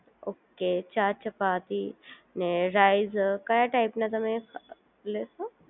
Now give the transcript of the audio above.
okay ચાર ચપાતી ને rice કયા ટાઇપના તમને લેશો